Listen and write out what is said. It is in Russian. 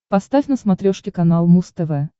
поставь на смотрешке канал муз тв